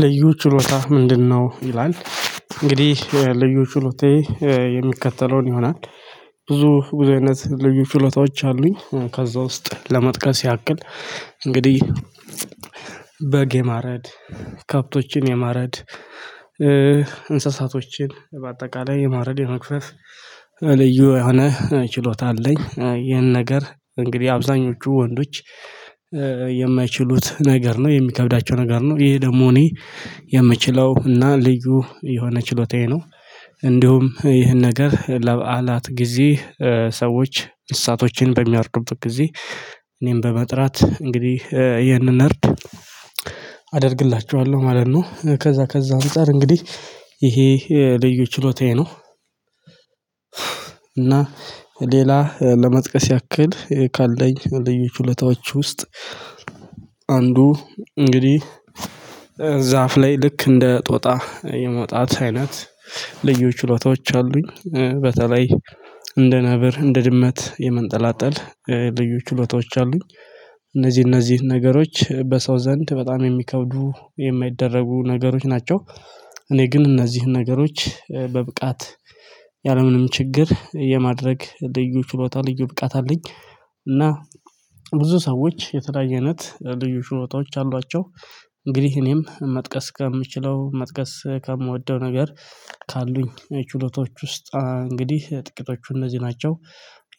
ልዩ ችሎታ ምንድነው? ይላል እንግዲህ ልዩ ችሎታዬ የሚከተለውን ይሆናል። ብዙ አይነት ልዩ ችሎታዎች አሉኝ ከዛ ውስጥ ለመጥቀስ ያክል እንግዲህ በግ የማረድ ከብቶችን የማረድ እንስሳቶችን በአጠቃላይ የማረድ የመግፈፍ ልዩ የሆነ ችሎታ አለኝ። ይህን ነገር እንግዲህ አብዛኞቹ ወንዶች የማይችሉት ነገር ነው የሚከብዳቸው ነገር ነው ይሄ ደግሞ እኔ የምችለው እና ልዩ የሆነ ችሎታዬ ነው። እንዲሁም ይህን ነገር ለበዓላት ጊዜ ሰዎች እነስሳቶችን በሚያርዱበት ጊዜ እኔን በመጥራት እንግዲህ ይህንን እርድ አደርግላቸዋለሁ ማለት ነው። ከዛ ከዛ አንፃር እንግዲህ ይሄ ልዩ ችሎታዬ ነው። እና ሌላ ለመጥቀስ ያክል ካለኝ ልዩ ችሎታዎች ውስጥ አንዱ እንግዲህ ዛፍ ላይ ልክ እንደ ጦጣ የመውጣት አይነት ልዩ ችሎታዎች አሉኝ። በተለይ እንደ ነብር እንደ ድመት የመንጠላጠል ልዩ ችሎታዎች አሉኝ። እነዚህ እነዚህ ነገሮች በሰው ዘንድ በጣም የሚከብዱ የማይደረጉ ነገሮች ናቸው። እኔ ግን እነዚህን ነገሮች በብቃት ያለምንም ችግር የማድረግ ልዩ ችሎታ ልዩ ብቃት አለኝ። እና ብዙ ሰዎች የተለያየ አይነት ልዩ ችሎታዎች አሏቸው። እንግዲህ እኔም መጥቀስ ከምችለው መጥቀስ ከምወደው ነገር ካሉኝ ችሎታዎች ውስጥ እንግዲህ ጥቂቶቹ እነዚህ ናቸው።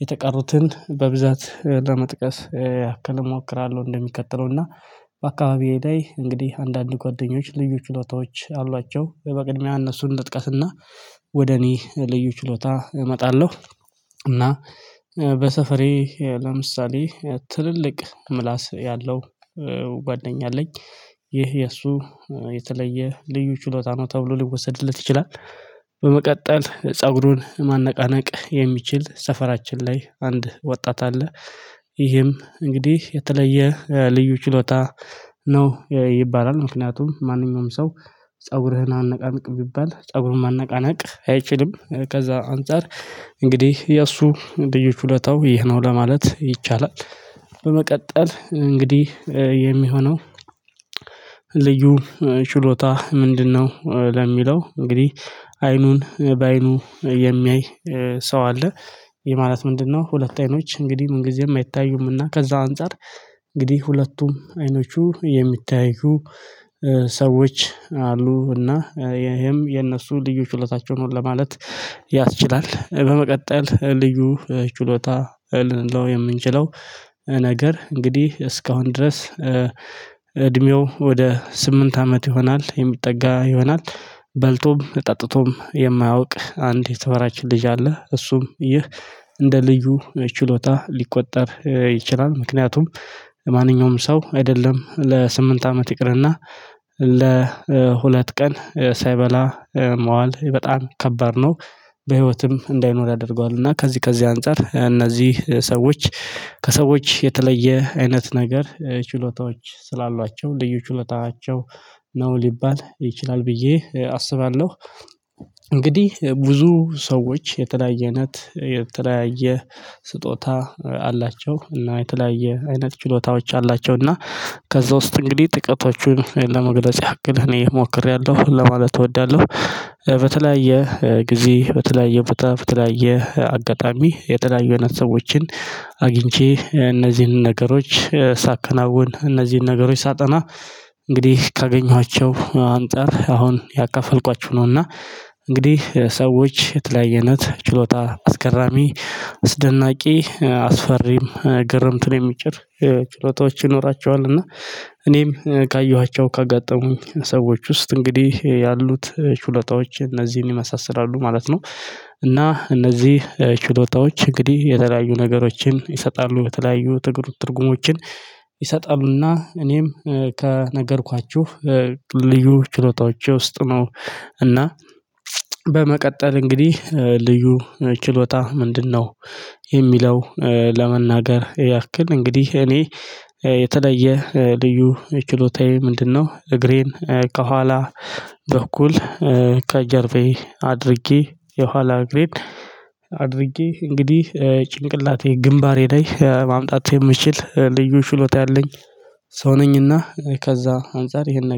የተቀሩትን በብዛት ለመጥቀስ ያክል እሞክራለሁ እንደሚከተለው እና በአካባቢዬ ላይ እንግዲህ አንዳንድ ጓደኞች ልዩ ችሎታዎች አሏቸው በቅድሚያ እነርሱን ልጥቀስና ወደ እኔ ልዩ ችሎታ እመጣለሁ። እና በሰፈሬ ለምሳሌ ትልልቅ ምላስ ያለው ጓደኛ አለኝ ይህ የእርሱ የተለየ ልዩ ችሎታ ነው ተብሎ ሊወሰድለት ይችላል። በመቀጠል ፀጉሩን ማነቃነቅ የሚችል ሰፈራችን ላይ አንድ ወጣት አለ። ይህም እንግዲህ የተለየ ልዩ ችሎታ ነው ይባላል ምክንያቱም ማንኛውም ሰው ፀጉርህን አነቃንቅ ቢባል ፀጉሩን ማነቃነቅ አይችልም። ከዛ አንፃር እንግዲህ የእርሱ ልዩ ችሎታው ይህ ነው ለማለት ይቻላል። በመቀጠል እንግዲህ የሚሆነው ልዩ ችሎታ ምንድነው? ለሚለው እንግዲህ አይኑን በአይኑ የሚያይ ሰው አለ። ይሄ ማለት ምንድነው ሁለት አይኖች እንግዲህ ምን ጊዜም አይታዩም እና ከዛ አንፃር እንግዲህ ሁለቱም አይኖቹ የሚተያዩ ሰዎች አሉ እና ይሄም የእነርሱ ልዩ ችሎታቸው ነው። ለማለት ያስችላል በመቀጠል ልዩ ችሎታ ልንለው የምንችለው ነገር እንግዲህ እስካሁን ድረስ እድሜው ወደ ስምንት አመት ይሆናል። የሚጠጋ ይሆናል በልቶም ጠጥቶም የማያውቅ አንድ የሰፈራችን ልጅ አለ እርሱም ይህ እንደ ልዩ ችሎታ ሊቆጠር ይችላል ምክንያቱም ማንኛውም ሰው አይደለም ለስምንት አመት ይቅርና ለሁለት ቀን ሳይበላ መዋል በጣም ከባድ ነው። በህይወትም እንዳይኖር ያደርገዋል እና ከዚህ ከዚህ አንፃር እነዚህ ሰዎች ከሰዎች የተለየ አይነት ነገር ችሎታዎች ስላሏቸው ልዩ ችሎታቸው ነው ሊባል ይችላል ብዬ አስባለሁ። እንግዲህ ብዙ ሰዎች የተለያ አይነት የተለያየ ስጦታ አላቸው እና የተለያየ አይነት ችሎታዎች አላቸው እና ከዛ ውስጥ እንግዲህ ጥቂቶቹን ለመግለጽ ያክል እኔ ሞክሬያለሁ ለማለት እወዳለሁ። በተለያየ ጊዜ በተለያየ በተለያየ አጋጣሚ የተለያየ አይነት ሰዎችን አግኝቼ እነዚህን ነገሮች ሳከናውን እነዚህን ነገሮች ሳጠና እንግዲህ ካገኘኋቸው አንፃር አሁን ያካፈልኳችሁ ነውና እንግዲህ ሰዎች የተለያ አይነት ችሎታ አስገራሚ አስደናቂ አስፈሪም ግርምትን የሚጭር ችሎታዎች ይኖራቸዋል። እና እኔም ካየኋቸው ካጋጠሙኝ ሰዎች ውስጥ እንግዲህ ያሉት ችሎታዎች እነዚህን ይመሳስላሉ ማለት ነው። እና እነዚህ ችሎታዎች እንግዲህ የተለያዩ ነገሮችን ይሰጣሉ በተለያዩ ትርጉሞችን ይሰጣሉና። እኔም ከነገርኳችሁ ልዩ ችሎታዎች ውስጥ ነው። እና በመቀጠል እንግዲህ ልዩ ችሎታ ምንድነው? የሚለው ለመናገር ያክል እንግዲህ እኔ የተለየ ልዩ ችሎታዬ ምንድነው እግሬን ከኋላ በኩል ከጀርባዬ አድርጌ የኋላ እግሬን አድርጌ እንግዲህ ጭንቅላቴ ግንባሬ ላይ ማምጣት የምችል ልዩ ችሎታ ያለኝ ሰው ነኝና ከዛ አንፃር ይሄንን